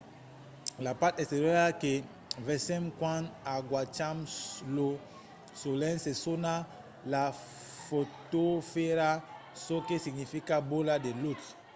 la part exteriora que vesèm quand agacham lo solelh se sona la fotosfèra çò que significa bola de lutz